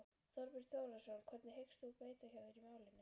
Þorbjörn Þórðarson: Hvernig hyggst þú beita þér í málinu?